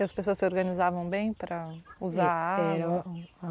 E as pessoas se organizavam bem para usar a água? Era um